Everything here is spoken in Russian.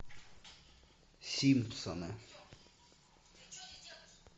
симпсоны